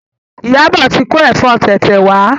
Iyabo tí ko efo tete wá.